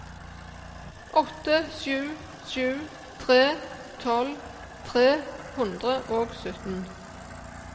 åtte sju sju tre tolv tre hundre og sytten